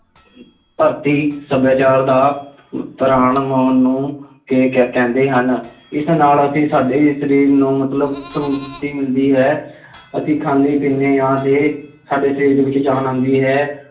ਧਰਤੀ ਸੱਭਿਆਚਾਰ ਦਾ ਪ੍ਰਾਣ ਮੋਹਨ ਨੂੰ ਕ~ ਕਹਿੰਦੇ ਹਨ ਇਸ ਨਾਲ ਅਸੀਂ ਸਾਡੇ ਸਰੀਰ ਨੂੰ ਮਤਲਬ ਤੋਂ ਮੁਕਤੀ ਮਿਲਦੀ ਹੈ, ਅਸੀਂ ਖਾਂਦੇ ਪੀਂਦੇ ਹਾਂ ਅਤੇ ਸਾਡੇ ਸਰੀਰ ਦੇ ਵਿੱਚ ਜਾਨ ਆਉਂਦੀ ਹੈ।